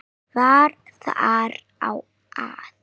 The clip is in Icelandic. Var þar á að